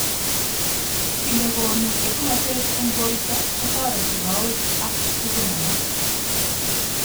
Ki nekonu etunotet eng borto kotoreti kowek ak tugun alak.